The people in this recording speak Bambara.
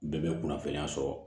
Bɛɛ bɛ kunnafoniya sɔrɔ